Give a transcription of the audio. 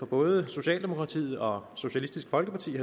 både socialdemokratiet og socialistisk folkeparti